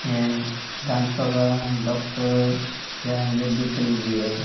ये दांतों का डॉक्टर या मेडिकल भी है।